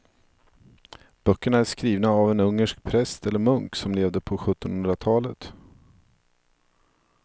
Böckerna är skrivna av en ungersk präst eller munk som levde på sjuttonhundratalet.